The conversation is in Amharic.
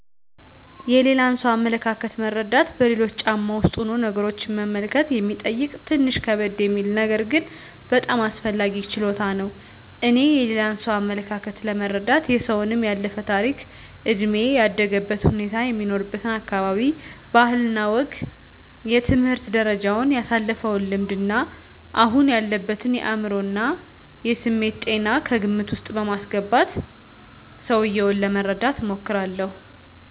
የሌላን ሰው አመለካከት መረዳት በሌሎች ጫማ ውስጥ ሁኖ ነገሮችን መመልከት የሚጠይቅ ትንሽ ከበድ የሚል ነገር ግን በጣም አስፈላጊ ችሎታ ነው። እኔ የሌላ ሰውን አመለካከት ለመረዳት የሰውየውን ያለፈ ታሪክ፣ እድሜ፣ ያደገበትን ሁኔታ፣ የሚኖርበትን አካባቢ ባህል እና ወግ፣ የትምህርት ደረጃውን፣ ያሳለፈውን ልምድ እና አሁን ያለበትን የአዕምሮ እና የስሜት ጤና ከግምት ዉስጥ በማስገባት ሰውየውን ለመረዳት እሞክራለሁ።